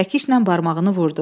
Çəkişlə barmağını vurdu.